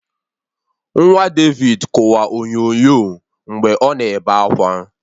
Nwa David kụwa onyonyo mgbe ọ na-ebe akwa